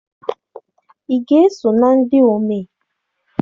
Ị ga-eso na ndị omee?